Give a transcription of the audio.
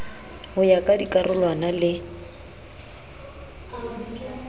ho ya ka dikarolwana le